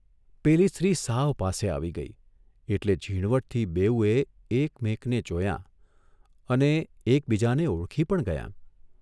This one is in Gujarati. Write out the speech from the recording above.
પેલી સ્ત્રી સાવ પાસે આવી ગઇ એટલે ઝીણવટથી બેઉએ એક મેકને જોયાં અને એકબીજાને ઓળખી પણ ગયાં.